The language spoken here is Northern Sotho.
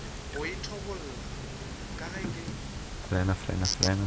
go ithobolla ka ge ke